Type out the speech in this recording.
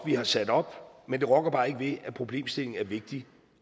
vi har sat op men det rokker bare ikke ved at problemstillingen er vigtig